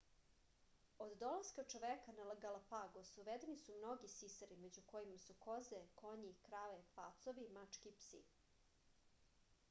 od dolaska čoveka na galapagos uvedeni su mnogi sisari među kojima su koze konji krave pacovi mačke i psi